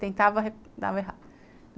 Tentava, dava errado.